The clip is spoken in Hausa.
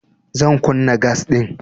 Zan kunna gas ɗin.